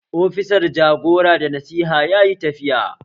Ofisan jagora da Nasiha yayi tafiya